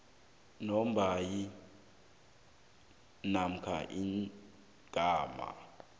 lombawi namkha igama